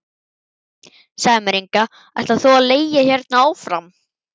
Segðu mér Inga, ætlar þú að leigja hérna áfram?